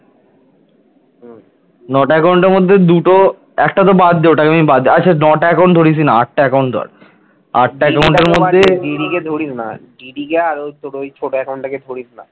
দিদিকে আর তোর ওই ছোট account টাকে ধরিস না